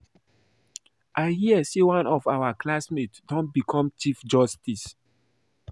I hear say one of my classmates don become Chief Justice